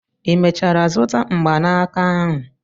ị mechara zụta mgbanaka ahụ?